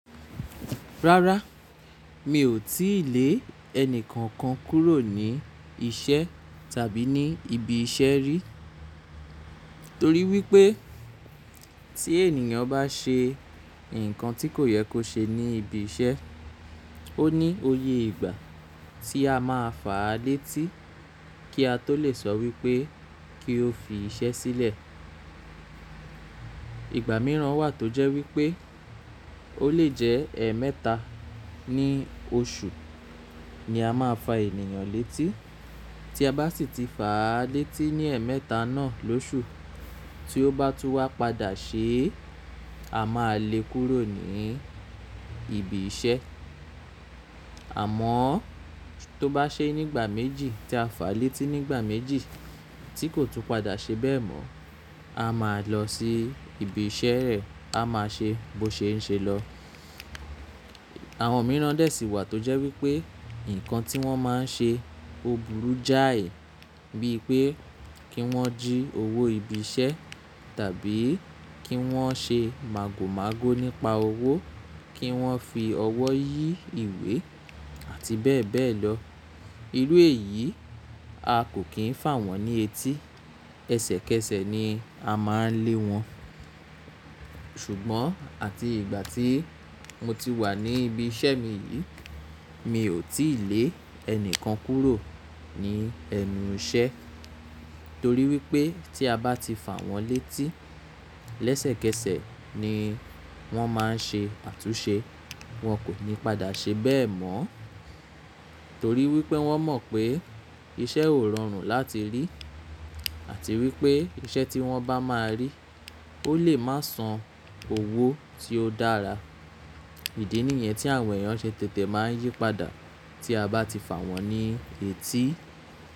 Rárá, mi ò tíì lé ẹni kankan kúrò ní iṣẹ́ tàbí ní ibi iṣẹ́ rí. Torí wípé tí ènìyàn bá ṣe ǹkan tí kò yẹ kó ṣe ní ibi iṣẹ́, ó ní òye ìgbà tí a máa fà á létí kí a tó lè sọ wípé kí ó fi iṣẹ́ sílẹ̀. Ìgbà mìíràn wà tó jẹ́ wípé ó lè jẹ́ ẹmẹ́ta ní oṣù ni a máa fà ènìyàn létí. Tí a bá sì ti fà á létí ní ẹmẹta náà lóṣù, tí ó bá tú wa padà ṣe, a máa lé e kúrò ní ibi iṣẹ́. Àmọ́ tó bá ṣe ní ìgbà méjì tí a fà á létí ní ìgbà méjì tí kò tún padà ṣe bẹ́ẹ̀ mọ́, a máa lọ sí ibi iṣẹ́ rẹ̀, a máa ṣe bó ṣe ń ṣe lọ. Àwọn mìíràn dè sí wà tó jẹ́ wípé ǹkan tí wọ́n máa ń ṣe ò burú jáì, bíi pé kí wọ́n jí owó ibi iṣẹ́ tàbí kí wọ́n ṣe màgòmágó nípa owó, kí wọ́n fi ọwọ́ yí ìwé àti bẹ́ẹ̀ bẹ́ẹ̀ lọ. Irú èyí a kò kín fà wọ́n ní etí. Kẹ́sẹ̀kẹ́sẹ̀ ni a máa ń lé wọn. Ṣùgbọ́n àti ìgbà tí mo ti wà ní ibi iṣẹ́ mi yìí, mi ò tíì lé ẹni kankan kúrò ní ẹnu iṣẹ́ torí wípé tí a bá ti fà wọ́n létí lẹ́sẹ̀kẹ́sẹ̀ ni wọ́n máa ń ṣe àtúnṣe. Wọn kò ní padà ṣe bẹ́ẹ̀ mọ́ torí wípé wọ́n mọ̀ pé iṣẹ́ ó rọrùn láti rí àti wípé iṣẹ́ tí wọ́n bá máa rí ó lè má san owó tí ó dára. Ìdí nìyẹn tí àwọn èèyàn ṣe tètè máa ń yí padà tí a bá ti fà wọ́n ní etí.